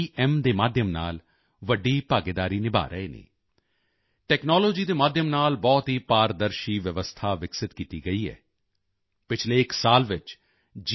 Gem ਦੇ ਮਾਧਿਅਮ ਨਾਲ ਵੱਡੀ ਭਾਗੀਦਾਰੀ ਨਿਭਾ ਰਹੇ ਹਨ ਟੈਕਨੋਲੋਜੀ ਦੇ ਮਾਧਿਅਮ ਨਾਲ ਬਹੁਤ ਹੀ ਪਾਰਦਰਸ਼ੀ ਵਿਵਸਥਾ ਵਿਕਸਿਤ ਕੀਤੀ ਗਈ ਹੈ ਪਿਛਲੇ ਇੱਕ ਸਾਲ ਵਿੱਚ ਜੀ